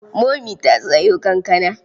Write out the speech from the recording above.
Momi ta sayo kankana.